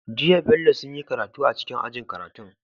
Jiya bello sunyi karatu a cikin ajin karatun su